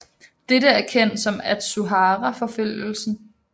Dette er kendt som Atsuhara forfølgelsen